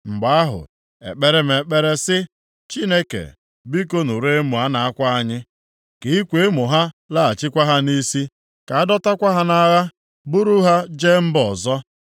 Mgbe ahụ, e kpere m ekpere sị, “Chineke, biko nụrụ emo a na-akwa anyị. Ka ịkwa emo ha laghachikwa ha nʼisi; ka a dọtakwa ha nʼagha buru ha jee mba ọzọ.